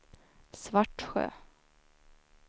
Svartsjö